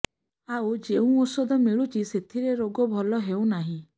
ଆଉ ଯେଉଁ ଔଷଧ ମିଳୁଛି ସେଥିରେ ରୋଗ ଭଲ ହେଉନାହିଁ